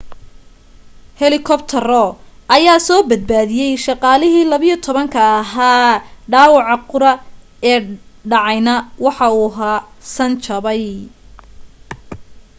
helikabtaro ayaa soo badbaadiyay shaqaalihii 12 ka ahaa dhaawaca qura ee dhacayna waxa uu ahaa san jabay